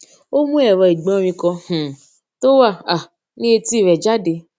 ó mú èrọ igborin kan um tó wà um ní etí rè jáde